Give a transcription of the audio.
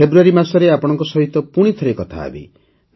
ଫେବୃୟାରୀ ମାସରେ ଆପଣମାନଙ୍କ ସାଥେ ପୁଣିଥରେ କଥାହେବି